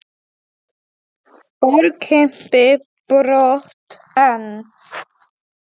Fór Kimbi brott en